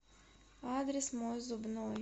адрес мой зубной